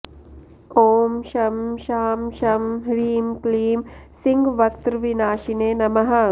ॐ शं शां षं ह्रीं क्लीं सिंहवक्त्रविनाशिने नमः